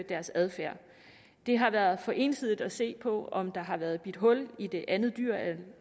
deres adfærd det har været for ensidigt at se på om der har været bidt hul i det andet dyr